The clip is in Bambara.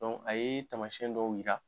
Dɔnku a ye tamasiyɛn dɔw yira